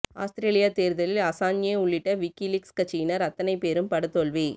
அவுஸ்ரேலிய தேர்தலில் அஸாஞ்ஞே உள்ளிட்ட விக்கிலீக்ஸ் கட்சியினர் அத்தனை பேரும் படுதோல்வி